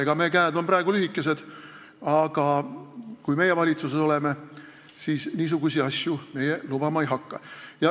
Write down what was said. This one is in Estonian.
Ega meie käed on praegu lühikesed, aga kui meie valitsuses oleme, siis meie niisuguseid asju lubama ei hakka.